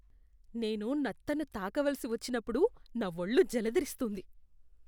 నేను నత్తను తాకవలసి వచ్చినప్పుడు నా ఒళ్ళు జలదరిస్తుంది.